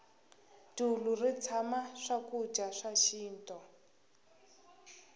dulu ri tshama swakudya swa xinto